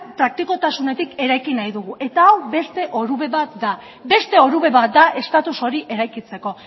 praktikotasunetik eraiki nahi dugu eta hau beste orube bat da beste orube bat da estatus hori eraikitzeko